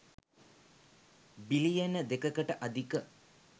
බිලියන 2 කට අධික